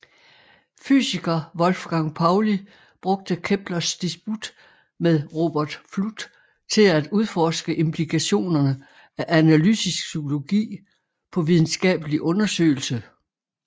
Fysiker Wolfgang Pauli brugt Keplers disput med Robert Fludd til at udforske implikationerne af analytisk psykologi på videnskabelig undersøgelse